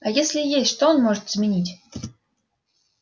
а если и есть что он может изменить